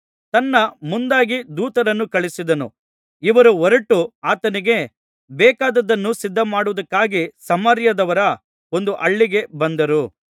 ತನ್ನ ಮುಂದಾಗಿ ದೂತರನ್ನು ಕಳುಹಿಸಿದನು ಇವರು ಹೊರಟು ಆತನಿಗೆ ಬೇಕಾದದ್ದನ್ನು ಸಿದ್ಧಮಾಡುವುದಕ್ಕಾಗಿ ಸಮಾರ್ಯದವರ ಒಂದು ಹಳ್ಳಿಗೆ ಬಂದರು